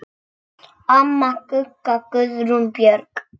Amma Gugga, Guðrún Björg.